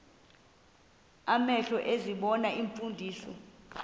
amehlo ezibona iimfundiso